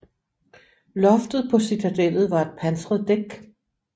Loftet på citadellet var et pansret dæk